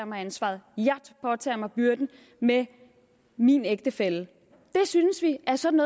mig ansvaret jeg påtager mig byrden med min ægtefælle det synes vi er sådan